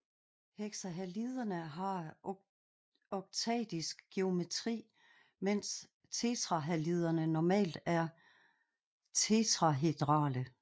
Hexahaliderne har oktaedisk geometri mens tetrahaliderne normalt er tetrahedrale